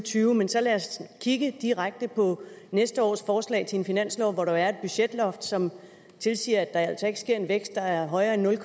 og tyve men så lad os kigge direkte på næste års forslag til en finanslov hvor der jo er et budgetloft som tilsiger at der altså ikke skal ske en vækst der er højere end nul